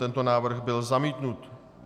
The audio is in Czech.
Tento návrh byl zamítnut.